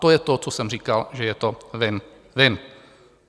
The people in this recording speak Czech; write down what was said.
To je to, co jsem říkal, že je to win-win.